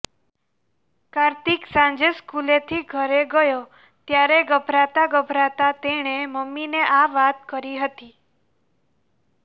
કાર્તિક સાંજે સ્કૂલેથી ઘરે ગયો ત્યારે ગભરાતા ગભરાતા તેણે મમ્મીને આ વાત કરી હતી